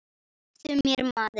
Slepptu mér maður.